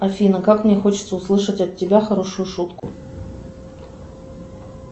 афина как мне хочется услышать от тебя хорошую шутку